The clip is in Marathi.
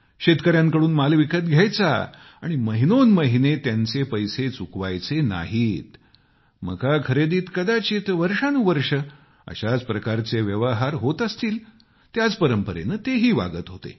शेतकऱ्यांकडून माल विकत घ्यायचा मात्र महिनोन्महिने त्यांचे पैसे चुकवायचे नाहीतमकाखरेदीत कदाचित वर्षानुवर्षे अशाच प्रकारचे व्यवहार होत असतील त्याच परंपरेने ते ही वागत होते